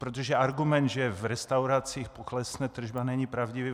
Protože argument, že v restauracích poklesne tržba, není pravdivý.